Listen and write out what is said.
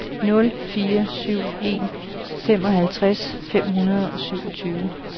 nul fire syv en femoghalvtreds fem hundrede og syvogtyve